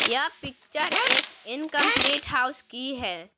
यह पिक्चर एक incomplete house की है।